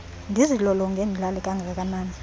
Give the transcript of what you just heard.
ndizilolonge ndilale kangakanani